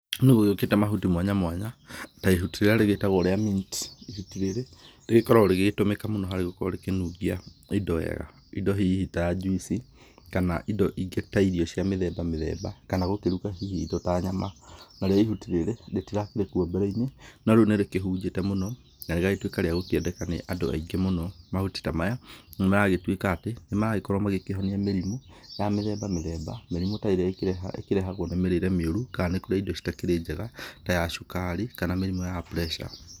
Nĩgũgĩũkĩte mahuti mwanya mwanya, ta ihuti rĩrĩa rĩgĩũkĩte rĩa [cs mint, ihuti rĩrĩ, rĩkoragũo rĩgĩtũmĩka mũno harĩ gũkorũo rĩgĩkĩnungia, indo wega, indo hihi ta juice kana indo ingĩ ta irio cia mĩthemba mĩthemba mĩthemba, kana gũkĩruga hihi indo ta nyama. Narĩo ihuti rĩrĩ, rĩtirakĩri kuo mbereinĩ, no rĩu nĩrĩkĩhunjĩte mũno, na rĩgatuĩka rĩa gũkĩendeka nĩ andũ aingĩ mũno. Mahuti ta maya, nĩmaragĩtuĩka atĩ, nĩmaragĩkorũo magĩkĩhonia mĩrimũ, ya mĩthemba mĩthemba, mĩrimũ ta ĩrĩa ĩkĩreha, ĩkĩrehagũo nĩ mĩrĩre mĩũru, kana nĩ kũrĩa indo iria citakĩrĩ njega, ta ya cukari, kana mĩrimũ ya pressure.